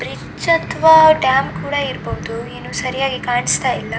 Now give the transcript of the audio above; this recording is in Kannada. ಬ್ರಿಜ್ ಅಥವಾ ಡ್ಯಾಮ್ ಕೂಡ ಇರಬಹುದು ಏನೋ ಸರಿಯಾಗಿ ಕಾಣಿಸ್ತಿಲ್ಲ.